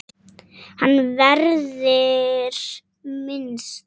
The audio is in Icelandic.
Hans verður minnst.